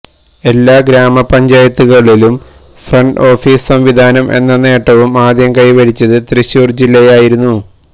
എല്ലാ ഗ്രാമപഞ്ചായത്തുകളിലും front office സംവിധാനം എന്ന നേട്ടവും ആദ്യം കൈവരിച്ചത് തൃശൂർ ജില്ലയായിരുന്നു